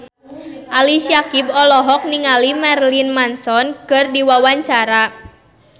Ali Syakieb olohok ningali Marilyn Manson keur diwawancara